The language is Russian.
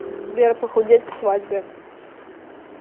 сбер похудеть к свадьбе